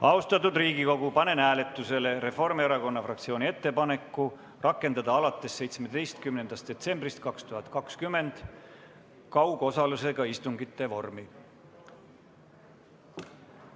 Austatud Riigikogu, panen hääletusele Reformierakonna fraktsiooni ettepaneku rakendada alates 17. detsembrist 2020 kaugosalusega istungite vormi.